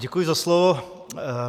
Děkuji za slovo.